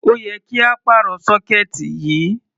Ó yẹ kí á pàrọ̀ sọ́kẹ́ẹ̀tì yìí.